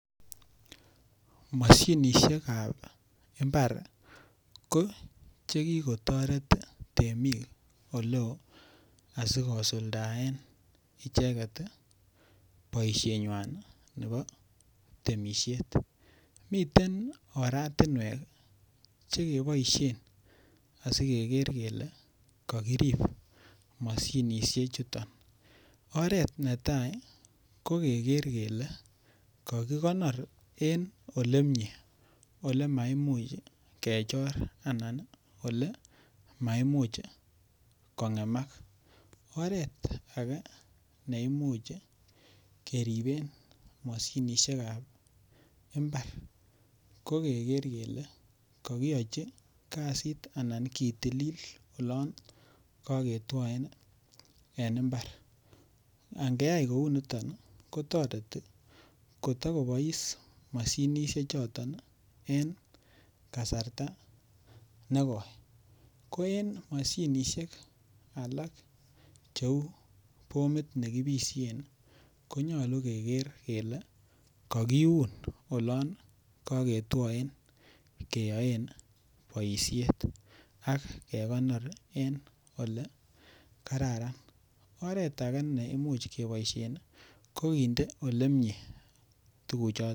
moshinishekab imbar ko chekikotoret temik oleo asikosuldaen icheket tii boishenywan nebo temishet. miten oratunwek chekeboishen sikeker kele kokirib moshinishek chuton. oret netai ko keker kele kakikonor en olemie olemakimuch kechor anan nii olemaimuch kongemak. oret age neimuch keriben moshinishekab imbar ko keker kele kokiyochi imbar kasit anan kitilil olon koketwoen en imbar. angeyai kouniton kotoreti kotokobois moshinishek choton nii en kasarta negoi, ko en moshinishek alak cheu bomit nekipishen konyolu kekere kele kokiun olon koketwoen keyoen boishet ak kekonor en ole kararan. oret age neimuch keboishen nii ko kinde olemie tukuk choton.